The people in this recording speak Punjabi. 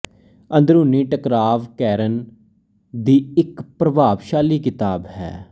ਅੰਦਰੂਨੀ ਟਕਰਾਵ ਕੈਰਨ ਦੀ ਇੱਕ ਪ੍ਰਭਾਵਸ਼ਾਲੀ ਕਿਤਾਬ ਹੈ